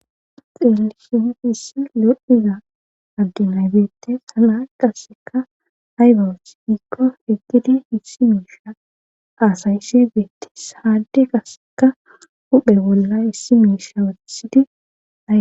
Xelisu issi lodhiza agginaybeettes hana qasseka haybawes ikko etidi hissi miisha aasaysse beettes haadde qaseka huphe bolla issi miisha wetisidiae